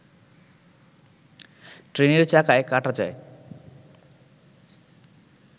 ট্রেনের চাকায় কাটা যায়